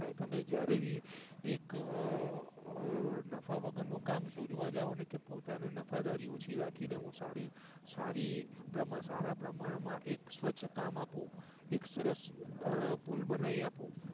તમે જ્યારે ભી એક નફા વગર નું કામ શોધવા જાવ ને કે પોતાને નફદારી ઓછી રાખી ને હું સારી સારી પ્રમાણ માં એક સ્વચ્છ કામ આપું એક સરસ પુલ બનાઈ આપું